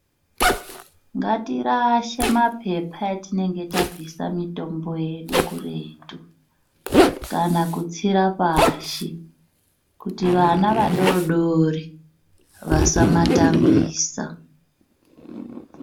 Ngatirashe mapepa etinenge tabvisa mitombo yedu kuretu kana kutsira pashi kuti vana vadodori vasamatambisa.